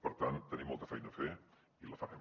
per tant tenim molta feina a fer i la farem